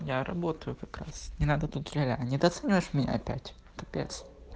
я работаю как раз не надо тут ля ля недооцениваешь меня опять капец